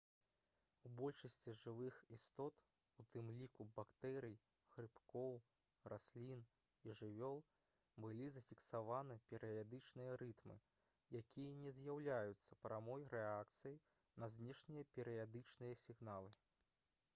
у большасці жывых істот у тым ліку бактэрый грыбкоў раслін і жывёл былі зафіксаваны перыядычныя рытмы якія не з'яўляюцца прамой рэакцыяй на знешнія перыядычныя сігналы